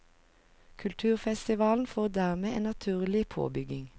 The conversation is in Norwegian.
Kulturfestivalen får dermed en naturlig påbygging.